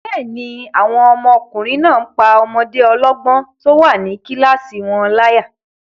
Bẹ́ẹ̀ni, àwọn ọmọkùnrin náà n pá ọmọdé ọlọ́gbọ́n tó wà ní kílásì wọn láyà